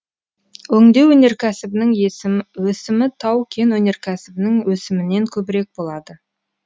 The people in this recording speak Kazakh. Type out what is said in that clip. өңдеу өнеркәсібінің өсімі тау кен өнеркәсібінің өсімінен көбірек болады